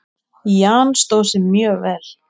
Jan stóð sig mjög vel.